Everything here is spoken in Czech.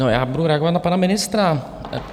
No, já budu reagovat na pana ministra.